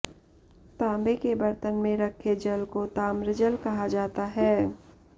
तांबे के बर्तन में रखे जल को ताम्रजल कहा जाता है